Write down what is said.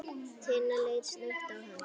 Tinna leit snöggt á hann.